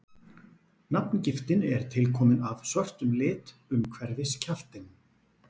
nafngiftin er tilkomin af svörtum lit umhverfis kjaftinn